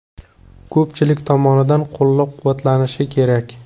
Ko‘pchilik tomonidan qo‘llab-quvvatlanishi kerak.